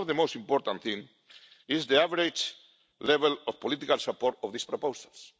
One of the most important things is the average level of political support for these proposals.